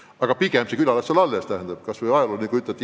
Aga pigem muidugi las külad jäävad alles, identiteedi aspektist on see väga oluline.